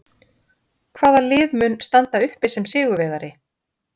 Hvaða lið mun standa uppi sem sigurvegari?